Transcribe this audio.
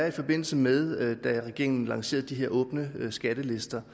i forbindelse med at regeringen lancerede de her åbne skattelister